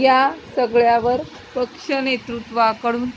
या सगळ्यावर पक्षनेतृत्वाकडून